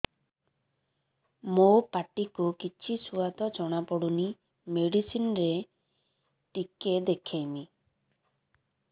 ମୋ ପାଟି କୁ କିଛି ସୁଆଦ ଜଣାପଡ଼ୁନି ମେଡିସିନ ରେ ଟିକେ ଦେଖେଇମି